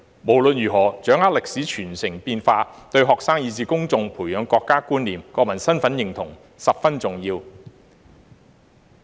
無論如何，掌握歷史傳承變化，對學生以至公眾培養國家觀念及國民身份認同十分重要。